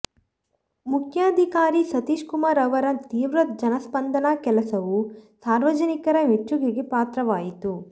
ಮುಖ್ಯಾಧಿಕಾರಿ ಸತೀಶ್ ಕುಮಾರ್ ಅವರ ತೀವ್ರ ಜನಸ್ಪಂದನಾ ಕೆಲಸವು ಸಾರ್ವಜನಿಕರ ಮೆಚ್ಚುಗೆಗೆ ಪಾತ್ರವಾಯಿತು